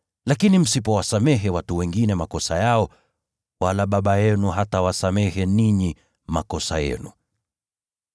Lakini msipowasamehe watu wengine makosa yao, naye Baba yenu hatawasamehe ninyi makosa yenu.